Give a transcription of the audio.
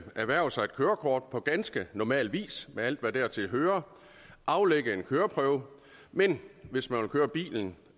erhverve sig et kørekort på ganske normal vis med alt hvad dertil hører aflægge en køreprøve men hvis man vil køre bilen